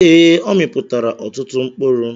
Ee, ọ mịpụtara ọtụtụ mkpụrụ.